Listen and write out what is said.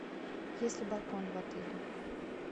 есть ли балкон в отеле